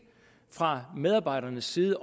fra medarbejdernes side